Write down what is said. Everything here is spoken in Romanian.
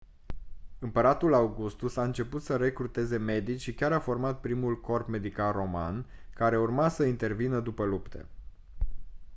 împăratul augustus a început să recruteze medici și chiar a format primul corp medical roman care urma să intervină după lupte